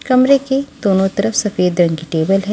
कमरे के दोनों तरफ सफेद रंग की टेबल है।